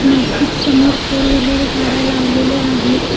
मज्जीद समोर four wheeler गाड्या लावलेल्या आहेत.